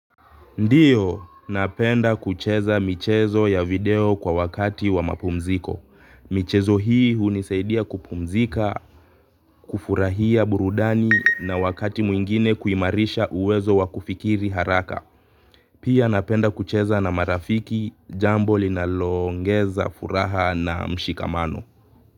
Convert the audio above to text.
Ndiyo, napenda kucheza michezo ya video kwa wakati wa mapumziko. Michezo hii hunisaidia kupumzika, kufurahia burudani na wakati mwingine kuimarisha uwezo wa kufikiri haraka. Pia napenda kucheza na marafiki, jambo linaloongeza furaha na mshikamano.